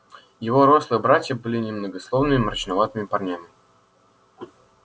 его рослые братья были немногословными мрачноватыми парнями